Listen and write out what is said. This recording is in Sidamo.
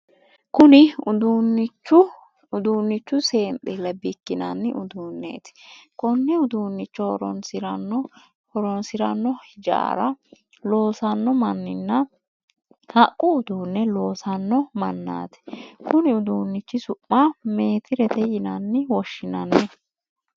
Kunni uduunchi seendile bikinnanni uduuneeti. Konne uduunicho horoonsirano hijaara loosanno manninna haqu uduune loosano manaati. Kunni uduunichi su'ma meetirete yinne woshinnanni